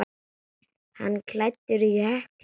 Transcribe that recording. Hann var klæddur hökli.